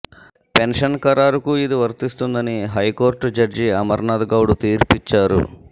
pension ఖరారుకూ ఇది వర్తిస్తుందని హైకోర్టు జడ్జి అమర్నాథ్ గౌడ్ తీర్పిచ్చారు